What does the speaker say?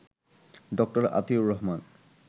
ড. আতিউর রহমান